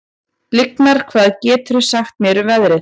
Lyngar, hvað geturðu sagt mér um veðrið?